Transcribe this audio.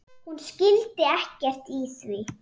Hún skildi ekkert í því.